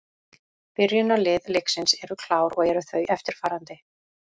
Byrjunarlið leiksins eru klár og eru þau eftirfarandi: